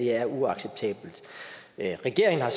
er uacceptabelt regeringen har